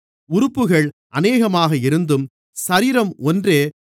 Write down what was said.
உறுப்புகள் அநேகமாக இருந்தும் சரீரம் ஒன்றே